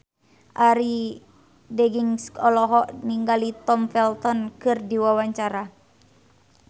Arie Daginks olohok ningali Tom Felton keur diwawancara